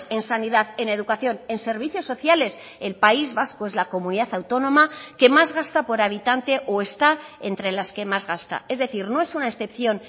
en sanidad en educación en servicios sociales el país vasco es la comunidad autónoma que más gasta por habitante o está entre las que más gasta es decir no es una excepción